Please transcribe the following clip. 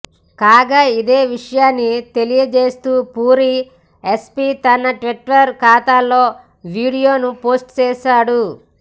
కాగా ఇదే విషయాన్ని తెలియజేస్తూ పూరీ ఎస్పీ తన ట్విట్టర్ ఖాతాలో వీడీయోను పోస్టు చేశాడు